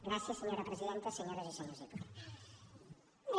gràcies senyora presidenta senyores i senyors diputats